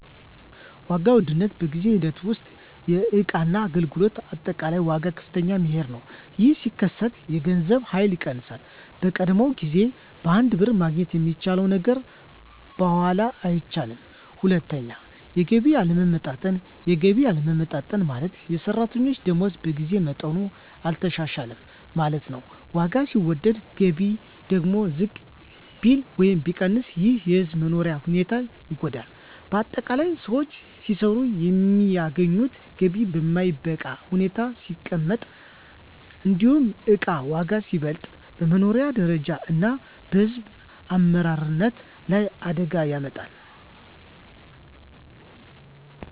1. ዋጋ ውድነት በጊዜ ሂደት ውስጥ የእቃና አገልግሎት አጠቃላይ ዋጋ ከፍ መሄዱ ነው። ይህ ሲከሰት የገንዘብ ኃይል ይቀንሳል፤ በቀደመው ጊዜ በአንድ ብር ማግኘት የሚቻለው ነገር በኋላ አይቻልም። 2. የገቢ አለመለወጥ የገቢ አለመለወጥ ማለት፣ የሰራተኞች ደመወዝ በጊዜ መጠኑ አልተሻሻለም ማለት ነው። ዋጋ ሲወደድ ገቢ ደግሞ ዝቅ ቢል ወይም ቢቀር ይህ የሕዝብ መኖሪያ ሁኔታን ይጎዳል። ✅ በአጠቃላይ: ሰዎች ሲሰሩ የሚያገኙት ገቢ በማይበቃ ሁኔታ ሲቀመጥ፣ እንዲሁም እቃ ዋጋ ሲበልጥ፣ በመኖሪያ ደረጃ እና በሕዝብ አመራረት ላይ አደጋ ያመጣል።